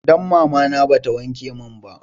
Dan mamana ba ta wanke mun ba